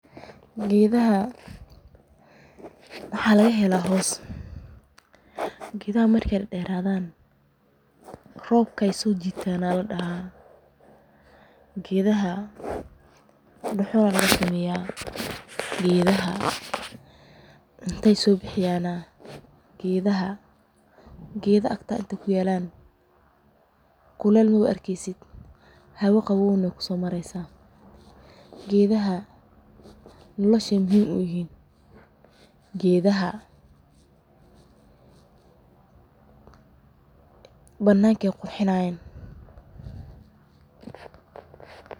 Gedaha waxa lagahela hoos, gedaha markey daderadan robka ayey sojitan aya ladaha. Gedaha dhuxul aya lagasameya oo hoos ayey kenan qawoow ayey kenan kuleel maarkeysit, gedaha nolasha muhiim uyihin oo banakey qurxinaya.